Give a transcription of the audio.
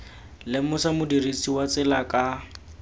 lemosa modirisi wa tsela ka